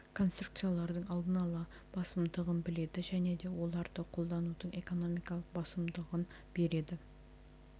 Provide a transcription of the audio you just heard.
конструкциялардың аллын ала басымдығын біледі және де оларды қолданудың экономикалық басымдығын береді